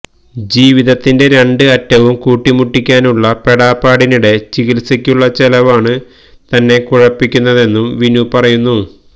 ജീവിതത്തിന്റെ രണ്ട് അറ്റവും കൂട്ടി മുട്ടിക്കാനുള്ള പെടാപ്പാടിനിടെ ചികിത്സയ്ക്കുള്ള ചെലവാണ് തന്നെ കുഴപ്പിക്കുന്നതെന്നും വിനു പറയുന്നു